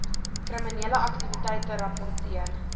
kriminele aktiwiteite rapporteer